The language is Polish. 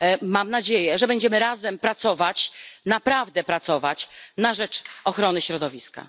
Mam nadzieję, że będziemy razem pracować, naprawdę pracować na rzecz ochrony środowiska